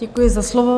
Děkuji za slovo.